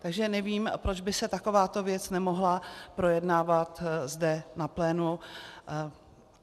Takže nevím, proč by se taková věc nemohla projednávat zde na plénu.